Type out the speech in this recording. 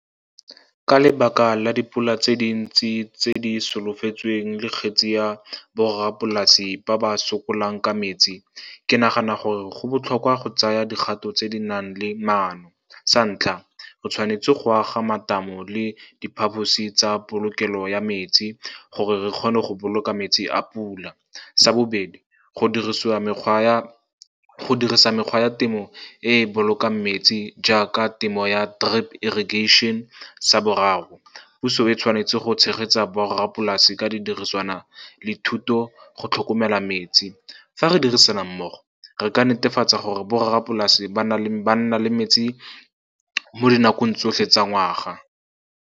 Ka lebaka la dipula tse dintsi tse di solofetsweng, le kgetse ya borrapolase ba ba sokolang ka metsi, ke nagana gore go botlhokwa go tsaya dikgato tse di nang le maano. Sa ntlha, re tshwanetse go aga matamo le diphaphosi tsa polokelo ya metsi gore re kgone go boloka metsi a pula. Sa bobedi, go dirisa mekgwa ya temo e e bolokang metsi jaaka temo ya drip irrigation. Sa boraro, puso e tshwanetse go tshegetsa borrapolase ka didiriswana le thuto go tlhokomela metsi. Fa re dirisana mmogo, re ka netefatsa gore borrapolase ba nna le metsi mo dinakong tsotlhe tsa ngwaga.